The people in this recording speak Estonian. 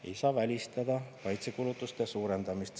Ei saa välistada kaitsekulutuste suurendamist.